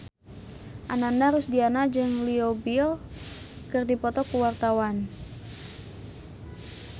Ananda Rusdiana jeung Leo Bill keur dipoto ku wartawan